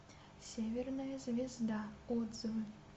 северная звезда отзывы